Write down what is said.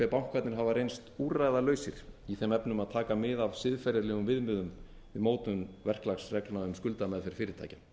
bankarnir hafa reynst úrræðalausir í þeim efnum að taka mið af siðferðilegum viðmiðum við mótun verklagsreglna um skuldameðferð fyrirtækja